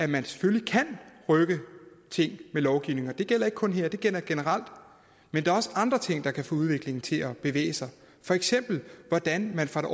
man selvfølgelig kan rykke ting ved lovgivning det gælder ikke kun her det gælder generelt men der er også andre ting der kan få udviklingen til at bevæge sig for eksempel hvordan man fra det